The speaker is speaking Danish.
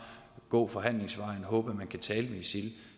gå forhandlingsvejen og håbe at man kan tale med isil